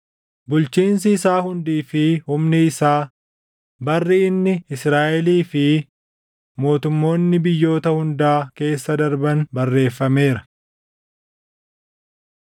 bulchiinsi isaa hundii fi humni isaa, barri inni, Israaʼelii fi mootummoonni biyyoota hundaa keessa darban barreeffameera.